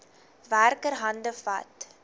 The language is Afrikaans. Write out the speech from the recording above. werker hande vat